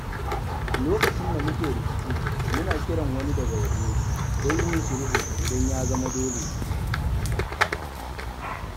Lokacin da muke rikici, muna kiran wani daga waje don yin sulhu idan ya zama dole.